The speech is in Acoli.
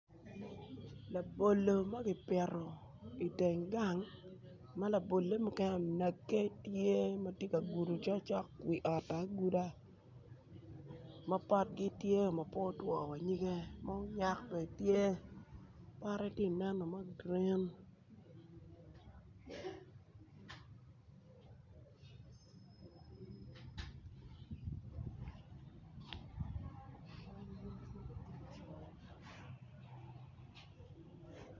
Labolo ma gipito iteng gang ma labole mukene onagge tye ka ogudo cokcok wi ot-to aguda ma potgi tyeo ma po otwoo wanyigge ma oyak bene tye pote tye ka neno ma gurin